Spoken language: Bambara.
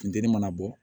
Funteni mana bɔ